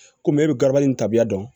Komi e bɛ garabali tabiya dɔn